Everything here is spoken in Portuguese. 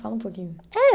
Fala um pouquinho. Eh